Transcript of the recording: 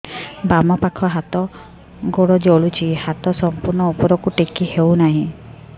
ବାମପାଖ ହାତ ଗୋଡ଼ ଜଳୁଛି ହାତ ସଂପୂର୍ଣ୍ଣ ଉପରକୁ ଟେକି ହେଉନାହିଁ